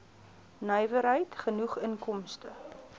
nywerheid genoeg inkomste